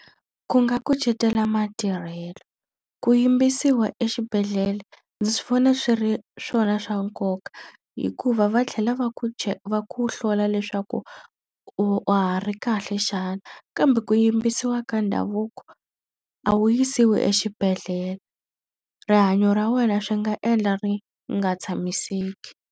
Ku nga kucetela matirhelo. Ku yimbisiwa exibedhlele ndzi swi vona swi ri swona swa nkoka hikuva va tlhela va ku va ku hlola leswaku wa ha ri kahle xana. Kambe ku yimbisiwa ka ndhavuko, a wu yisiwi exibedhlele. Rihanyo ra wena swi nga endla ri nga tshamiseki